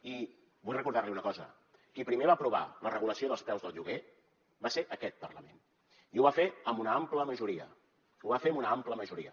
i vull recordar li una cosa qui primer va aprovar la regulació dels preus del lloguer va ser aquest parlament i ho va fer amb una ampla majoria ho va fer amb una àmplia majoria